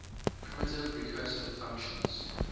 primitive recursive functions